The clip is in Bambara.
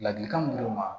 Ladilikan mun d'u ma